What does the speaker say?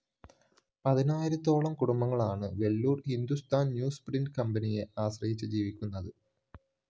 പതിനായിരത്തോളം കുടുംബങ്ങളാണ് വെള്ളൂര്‍ ഹിന്ദുസ്ഥാന്‍ ന്യൂസ്പ്രിന്റ്‌ കമ്പനിയെ ആശ്രയിച്ച് ജീവിക്കുന്നത്